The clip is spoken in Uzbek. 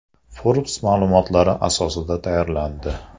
Forbes ma’lumotlari asosida tayyorlandi.